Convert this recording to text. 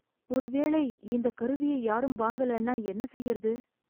ஒரு வேளை இந்தக் கருவியை யாரும் வாங்கலனா என்ன செய்றது ?